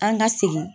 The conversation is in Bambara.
An ka segin